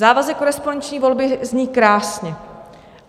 Závazek korespondenční volby zní krásně.